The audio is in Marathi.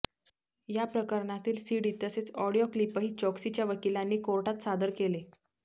या प्रकरणातील सीडी तसेच ऑडिओ क्लिपही चोक्सीच्या वकिलांनी कोर्टात सादर केले